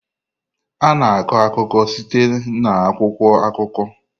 A na-akọ akụkọ site na akwụkwọ akụkọ.